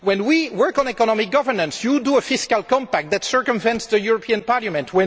When we work on economic governance, you produce a fiscal compact that circumvents the European Parliament.